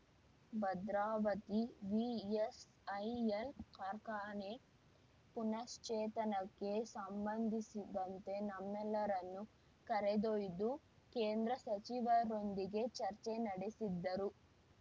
Bhadravati VISL ಕಾರ್ಖಾನೆ ಪುನಶ್ಚೇತನಕ್ಕೆ ಸಂಬಂಧಿಸಿದಂತೆ ನಮ್ಮೆಲ್ಲರನ್ನು ಕರೆದೊಯ್ದು ಕೇಂದ್ರ ಸಚಿವರೊಂದಿಗೆ ಚರ್ಚೆ ನಡೆಸಿದ್ದರು